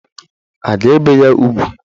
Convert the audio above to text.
A ga-ebe ya ugwu?